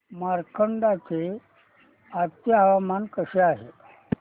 मार्कंडा चे आजचे हवामान कसे आहे